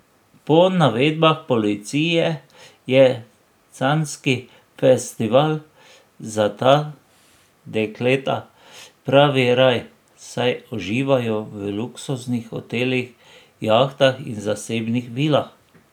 Po navedbah policije je canski festival za ta dekleta pravi raj, saj uživajo v luksuznih hotelih, jahtah in zasebnih vilah.